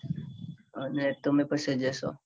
અને તમે પછી જશો.